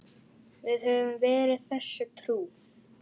Við höfum verið þessu trú.